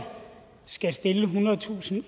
skal stille ethundredetusind